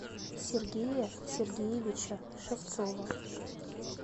сергея сергеевича шевцова